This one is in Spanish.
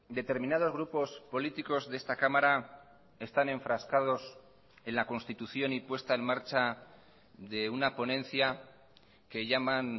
determinados grupos políticos de esta cámara están enfrascados en la constitución y puesta en marcha de una ponencia que llaman